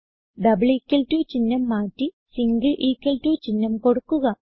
double equal to ചിഹ്നം മാറ്റി single equal to ചിഹ്നം കൊടുക്കുക